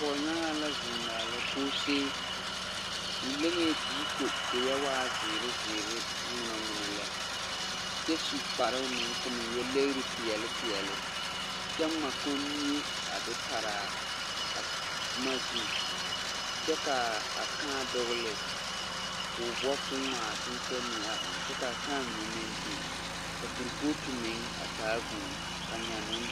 Pɔgnyaŋaa la zeŋ maala koosee. O leŋɛɛ la diiko koo yɛ waa ŋa zeere zeere ŋmonoŋmono lɛ. Kyɛ su kparoo meŋ koo meŋ yɛ legre peɛle peɛle. Kyɛ ŋma kommie a de paraa a boma zu. Kyɛ kaa a kãã dɔgle, koo boɔ koo ŋma a seneɛ mine a eŋ. Kyɛ kaa kãã mine meŋ biŋ, ka korpooti meŋ a taa vūū, ka nynoo..